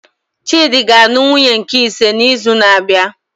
Chidi ga anụ nwunye nke ise na izu na abịa